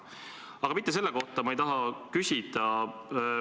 Aga mitte selle kohta ei taha ma küsida.